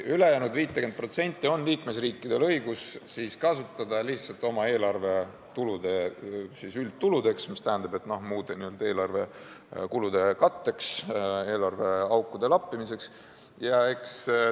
Ülejäänud 50% on liikmesriikidel õigus kasutada lihtsalt oma eelarve üldtuludeks, st muude eelarvekulude katteks, eelarveakude lappimiseks.